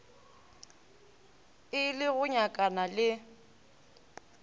e le go nyakana le